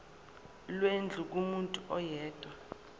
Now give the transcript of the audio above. lwendlu kumuntu oyedwa